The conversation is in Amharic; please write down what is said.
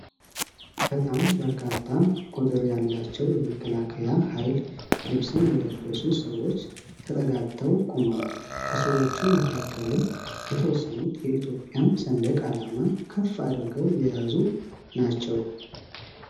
በጣም በርካታ ቁጥር ያላቸው የመከላከያ ሃይል ልብስን የለበሱ ሰዎች ተጠጋግተው ቆመዋል። ከሰዎቹ መካከልም የተወሰኑት የኢትዮጵያን ሰንደቅ አላማ ከፍ አድርገው የያዙ ናቸው።